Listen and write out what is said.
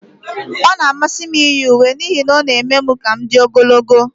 Ọ na-amasị m iyi uwe n'ihi na ha na-eme ka m dị ogologo.